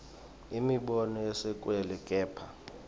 imibono yesekelwe kepha